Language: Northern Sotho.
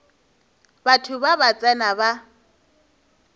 batho ba ba tsena ba